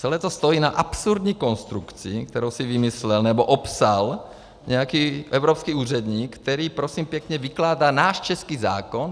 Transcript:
Celé to stojí na absurdní konstrukci, kterou si vymyslel nebo opsal nějaký evropský úředník, který prosím pěkně vykládá náš český zákon.